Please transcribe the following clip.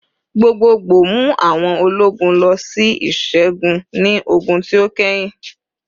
Gbogboogbo mu awọn ologun lọ si iṣẹgun ni ogun ti o kẹhin